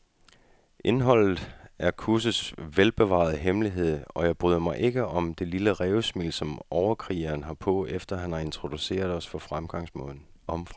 Indholdet er kursets velbevarede hemmelighed, og jeg bryder mig ikke om det lille rævesmil, som overkrigeren har på, efter han har introduceret os om fremgangsmåden.